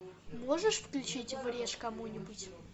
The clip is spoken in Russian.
можешь включить врежь кому нибудь